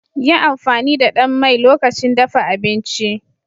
Yi amfani da ɗan mai lokacin dafa abinci